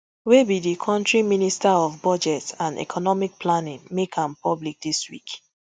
wey be di kontri minister of budget and economic planning make am public dis week